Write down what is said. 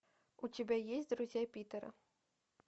у тебя есть друзья питера